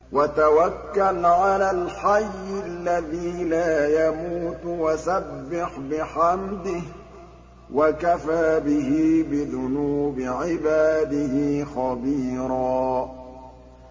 وَتَوَكَّلْ عَلَى الْحَيِّ الَّذِي لَا يَمُوتُ وَسَبِّحْ بِحَمْدِهِ ۚ وَكَفَىٰ بِهِ بِذُنُوبِ عِبَادِهِ خَبِيرًا